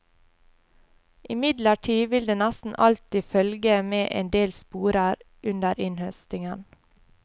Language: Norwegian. Imidlertid vil det nesten alltid følge med endel sporer under innhøstingen.